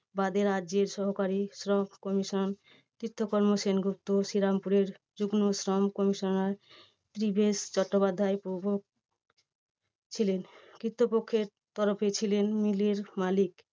বাদে রাজ্যের সহকারী শ্রম commission চিত্তকর্ম সেনগুপ্ত, শ্রীরামপুরের যুগ্ম শ্রম commissioner ব্রিভেস চট্টোপাধ্যায় প্রমুখ ছিলেন। কৃত্ত পক্ষে ছিলেন mill এর মালিক